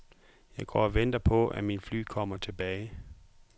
Jeg går og venter på, at mine fly kommer tilbage.